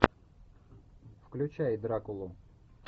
включай дракулу